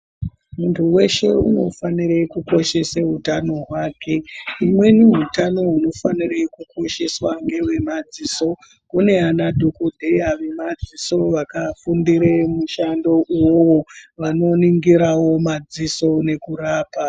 Muntu weshe unofanire kukoshese utano hwake. Imweni utano hunofanira kukosheswa ngewemadziso. Kune anadhokodheya vemadziso vakafundire mushando uyu vanoningirawo madziso nekurapa.